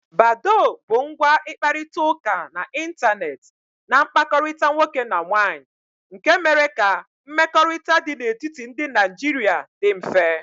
Badó bụ ngwa ịkparịta ụka n'Ịntanet na mkpakọrịta nwoke na nwaanyị nke mere ka mmekọrịta dị n'etiti ndị Naijiria dị mfe.